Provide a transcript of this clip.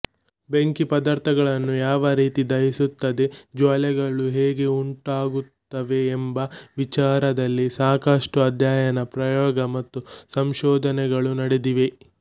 ಬೆಂಕಿ ಪದಾರ್ಥಗಳನ್ನು ಯಾವ ರೀತಿ ದಹಿಸುತ್ತದೆ ಜ್ವಾಲೆಗಳು ಹೇಗೆ ಉಂಟಾಗುತ್ತವೆಎಂಬ ವಿಚಾರದಲ್ಲಿ ಸಾಕಷ್ಟು ಅಧ್ಯಯನ ಪ್ರಯೋಗ ಮತ್ತು ಸಂಶೋಧನೆಗಳು ನಡೆದಿವೆ